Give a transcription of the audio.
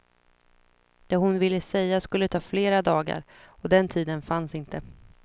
Det hon ville säga skulle ta flera dagar, och den tiden fanns inte.